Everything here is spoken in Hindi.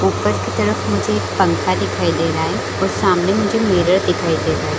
ऊपर की तरफ मुझे एक पंखा दिखाई दे रहा है और सामने मुझे मिरर दिखाई दे रहा है।